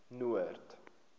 noord